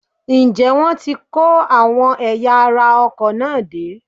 Ǹjẹ́ wọ́n ti kó àwọn ẹ̀yà ara ọkọ̀ náà dé?